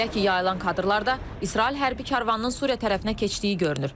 Belə ki, yayılan kadrlarda İsrail hərbi karvanının Suriya tərəfinə keçdiyi görünür.